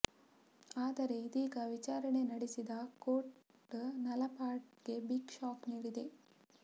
ಆದರೆ ಇದೀಗ ವಿಚಾರಣೆ ನಡೆಸಿದ ಕೋರ್ಟ್ ನಲಪಾಡ್ ಗೆ ಬಿಗ್ ಶಾಕ್ ನೀಡಿದೆ